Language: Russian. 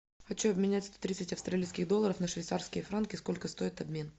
хочу обменять сто тридцать австралийских долларов на швейцарские франки сколько стоит обмен